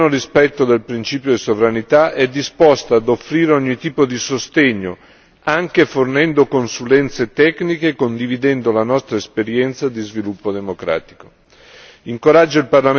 L'Unione europea, nel pieno rispetto del principio di sovranità, è disposta a offrire ogni tipo di sostegno, anche fornendo consulenze tecniche e condividendo la nostra esperienza di sviluppo democratico.